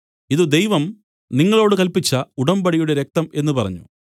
ഇതു ദൈവം നിങ്ങളോടു കല്പിച്ച ഉടമ്പടിയുടെ രക്തം എന്നു പറഞ്ഞു